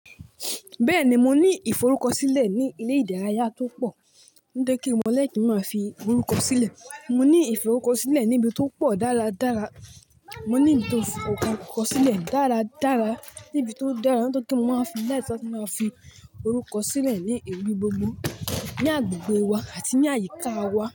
Bẹ́ẹ̀ni, mo ní ìforúkọsílẹ̀ ní ilé ìdárayá tó pọ̀. Ó dé kí mo lè kí máa fi orúkọ sílẹ̀. Mo ní ìforúkọ sílẹ̀ ní ibi tó pọ̀ dáradára. Mo ní nítòsì orúkọ sílẹ̀ dára dára, níbi tó dára. Nígbà tí mo máa ń fi láìpé ṣọ́ máa fi orúkọ sílẹ̀ ní ewì gbogbo ní agbègbè wa àti ní àyíká wa.